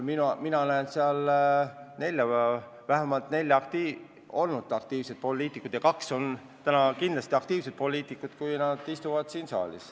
Mina näen nimekirjas vähemalt nelja aktiivset poliitikut, kellest kaks on ka praegu kindlasti aktiivsed poliitikud.